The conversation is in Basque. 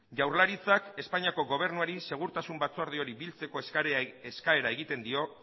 jaurlaritzak espainiako gobernuari segurtasun batzordeari biltzeko eskaera egiten dio